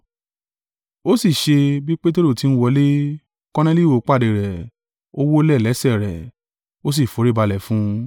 Ó sì ṣe bí Peteru ti ń wọlé, Korneliu pàdé rẹ̀, ó wólẹ̀ lẹ́sẹ̀ rẹ̀, ó sì foríbalẹ̀ fún un.